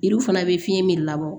Yiriw fana bɛ fiɲɛ min labɔ